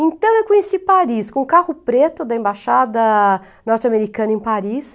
Então eu conheci Paris, com o carro preto da embaixada norte-americana em Paris.